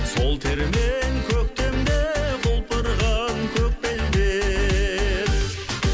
сол термен көктемде құлпырған көк белдер